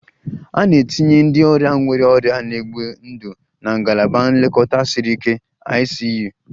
A na-etinye ndị ọrịa nwere ọrịa na-egbu ndụ na Ngalaba Nlekọta Siri Ike (ICU)